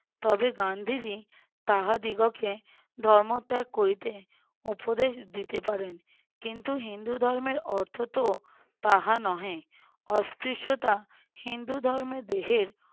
তবে গান্ধীজী তাহাদিগকে ধর্ম ত্যাগ করিতে উপদেশ দিতে পারেন। কিন্তু হিন্দু ধর্মের অর্থ তো তাহা নহে অস্পৃশ্যতা হিন্দু ধর্মে দেহের